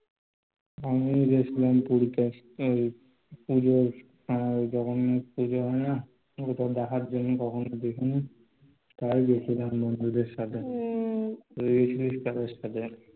আমিও গেছিলাম পুরীতে. পূজোর ঐযে জগন্নাথ পুজো হয়না, তখন দেখার জন্য তখন গেছিলাম, তাই গেছিলাম বন্ধুদের সাথে. তুই কাদের সাথে গেছিলি?